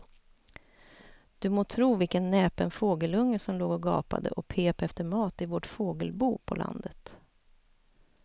Du må tro vilken näpen fågelunge som låg och gapade och pep efter mat i vårt fågelbo på landet.